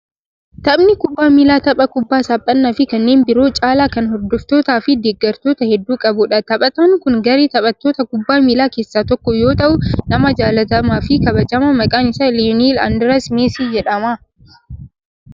Taphnii kubbaa miilaa tapha kubbaa saaphanaa fi kanneen biroo caalaa kan hordoftootaa fi deeggartoota hedduu qabu dha. Taphataan kun garee taphattoota kubbaa miilaa keessaa tokko yoo ta'u, nama jaalatamaa fi kabajamaa, maqaan isa Leyoonel Andirees Meesii jedhama.